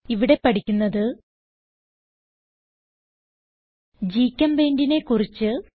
ഇവിടെ പഠിക്കുന്നത് GChemPaintനെ കുറിച്ച്